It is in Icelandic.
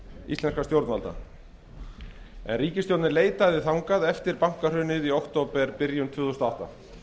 íslenskra stjórnvalda en ríkisstjórnin leitaði þangað eftir bankahrunið í októberbyrjun tvö þúsund og átta